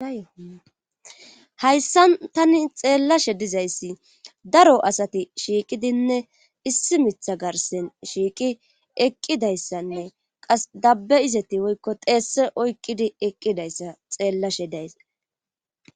Hayssan tani xeellashe dizayssi daro asati shiiqidinne issi mitha garsssen shiiqi eqqidayssanne qas dabbe izeti woykko xeese oykkidi eqqidayssati xeellashe days.